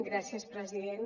gràcies president